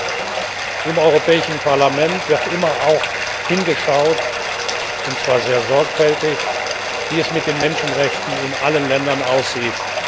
Deshalb Im Europäischen Parlament wird immer auch hingeschaut, und zwar sehr sorgfältig, wie es mit den Menschenrechten in allen Ländern aussieht.